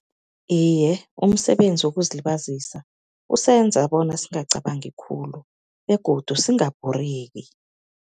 Iye, umsebenzi wokuzilibazisa usenza bona singacabangi khulu begodu singabhoreki.